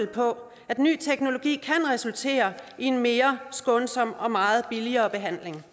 på at ny teknologi kan resultere i en mere skånsom og meget billigere behandling